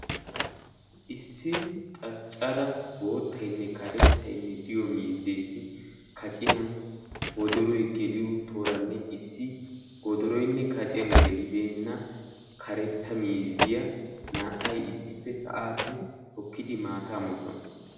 ISsi caccara boottayinne karettayinne de'iyo miizziyanne woddoroy kacciyan geliddo miizziya issippe maattaa moosonna.